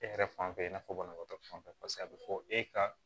E yɛrɛ fan fɛ i n'a fɔ banabaatɔ fanfɛ paseke a be fɔ e ka